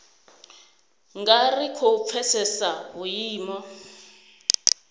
nga ri khou pfesesa vhuimo